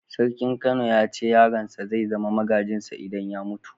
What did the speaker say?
Sarkin Kano ya ce yaron sa zai zama magajin sa idan ya mutu.